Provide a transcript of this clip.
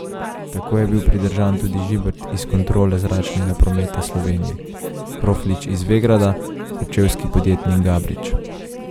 Tako je bil pridržan tudi Žibert iz Kontrole zračnega prometa Slovenije, Kroflič iz Vegrada, kočevski podjetnik Gabrič.